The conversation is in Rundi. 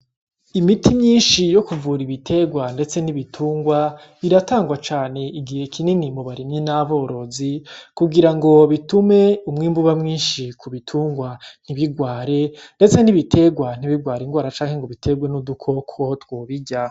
Imiti myishi yo kuvura ibitegwa ndetse n’ibitungwa iratangwa cane igihe kinini mubarimyi n’aborozi kugirango bitume umwimbu uba mwishi kubitungwa ntibigware ndetse n' ibitegwa ntibigware igwara canke ngo bitegwe n' udukoko twobirya.